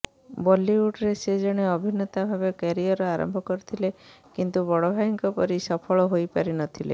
ବଲିଉଡରେ ସେ ଜଣେ ଅଭିନେତା ଭାବେ କ୍ୟାରିୟର ଆରମ୍ଭ କରିଥିଲେ କିନ୍ତୁ ବଡ଼ ଭାଇଙ୍କ ପରି ସଫଳ ହୋଇପାରିନଥିଲେ